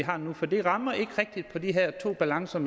har nu for det rammer ikke rigtigt på de her to balancer